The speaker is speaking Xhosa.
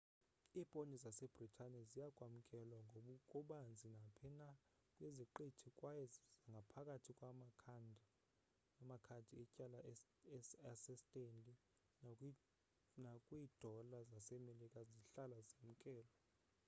iiponti zasebritane ziya kwamkelwa ngokubanzi naphi na kwiziqithi kwaye ngaphakathi kwamakhadi etyala asestanley nakwiidola zasemelika zihlala zamkelwe